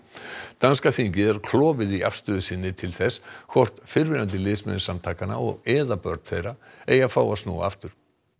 danska þingið er klofið í afstöðu sinni til þess hvort fyrrverandi liðsmenn samtakanna eða börn þeirra eigi að fá að snúa aftur